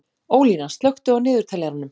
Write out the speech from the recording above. Ólína, slökktu á niðurteljaranum.